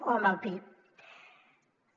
o amb el pib